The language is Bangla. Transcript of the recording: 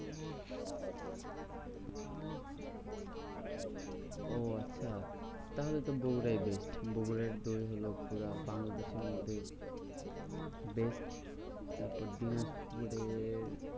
ও আচ্ছা তাহলে তো বগুরাই best. বগুড়ার দই হলো পুরা বাংলাদেশের মধ্যে best. তারপর দিনাজপুরের